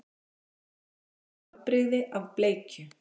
Murta er afbrigði af bleikju.